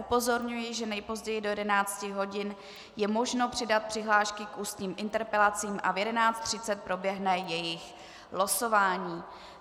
Upozorňuji, že nejpozději do 11 hodin je možno přidat přihlášky k ústním interpelacím a v 11.30 proběhne jejich losování.